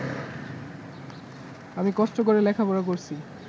আমি কষ্ট করে লেখাপড়া করছি